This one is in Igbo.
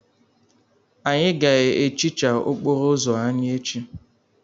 Anyị ga-ehicha okporo ụzọ anyị echi.